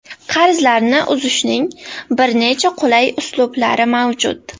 Qarzlarni uzishning bir necha qulay uslublari mavjud.